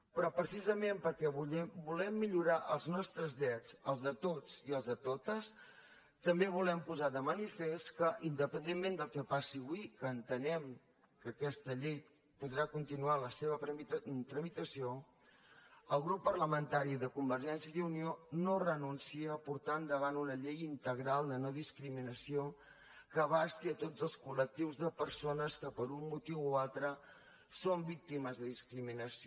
però precisament perquè volem millorar els nostres drets els de tots i els de totes també volem posar de manifest que independentment del que passi avui que entenem que aquesta llei podrà continuar la seva tramitació el grup parlamentari de convergència i unió no renuncia a portar endavant una llei integral de nodiscriminació que abasti tots els colde persones que per un motiu o altre són víctimes de discriminació